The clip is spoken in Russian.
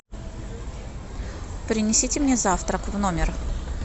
принесите мне завтрак в номер